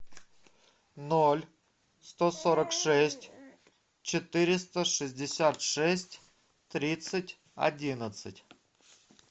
ноль сто сорок шесть четыреста шестьдесят шесть тридцать одиннадцать